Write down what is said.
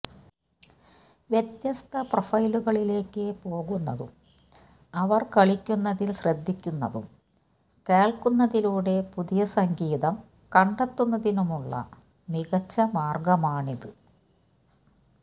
വ്യത്യസ്ത പ്രൊഫൈലുകളിലേക്ക് പോകുന്നതും അവർ കളിക്കുന്നതിൽ ശ്രദ്ധിക്കുന്നതും കേൾക്കുന്നതിലൂടെ പുതിയ സംഗീതം കണ്ടെത്തുന്നതിനുള്ള മികച്ച മാർഗമാണിത്